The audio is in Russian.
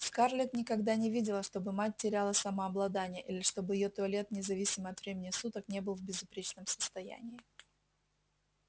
скарлетт никогда не видела чтобы мать теряла самообладание или чтобы её туалет независимо от времени суток не был в безупречном состоянии